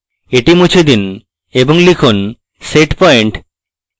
এটি মুছে দিন এবং লিখুন setpoint